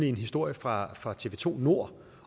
en historie fra fra tv2 nord